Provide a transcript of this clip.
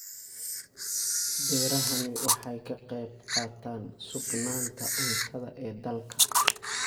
Beerahani waxa ay ka qayb qaataan sugnaanta cuntada ee dalka.